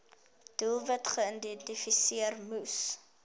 doelwitte geïdentifiseer moes